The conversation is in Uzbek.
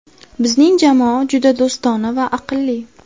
Bizning jamoa juda do‘stona va aqlli.